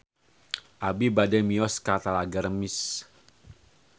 Abi bade mios ka Talaga Remis